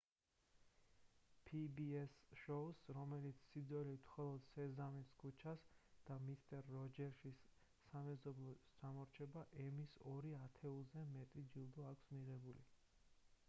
pbs-ს შოუს რომელიც სიძველით მხოლოდ სეზამის ქუჩას და მისტერ როჯერსის სამეზობლოს ჩამორჩება ემის ორ ათეულზე მეტი ჯილდო აქვს მიღებული